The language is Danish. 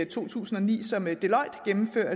to tusind og ni